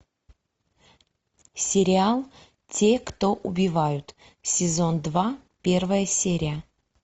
сериал те кто убивают сезон два первая серия